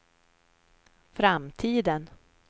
framtiden